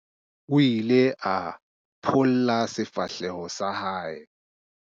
O ile a pholla sefahleho sa hae.